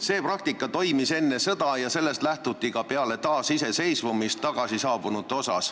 See praktika toimis enne sõda ja sellest lähtuti ka peale taasiseseisvumist tagasisaabunute puhul.